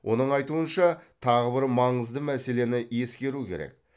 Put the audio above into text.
оның айтуынша тағы бір маңызды мәселені ескеру керек